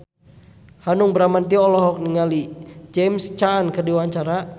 Hanung Bramantyo olohok ningali James Caan keur diwawancara